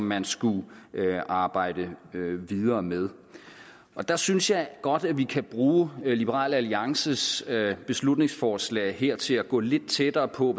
man skulle arbejde videre med der synes jeg godt at vi kan bruge liberal alliances beslutningsforslag her til at gå lidt tættere på